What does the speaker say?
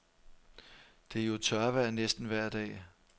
Det er jo tørvejr næsten vejr dag.